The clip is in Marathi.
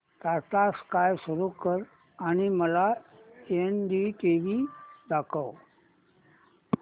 टाटा स्काय सुरू कर आणि मला एनडीटीव्ही दाखव